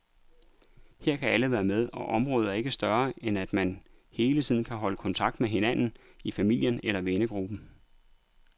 Her kan alle være med, og området er ikke større, end at man hele tiden kan holde kontakt med hinanden i familien eller vennegruppen.